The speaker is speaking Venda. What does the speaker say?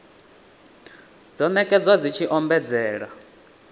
dzo nekedzwa dzi tshi ombedzela